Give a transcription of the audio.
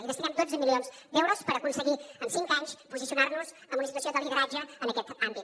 hi destinem dotze milions d’euros per aconseguir en cinc anys posicionar nos en una situació de lideratge en aquest àmbit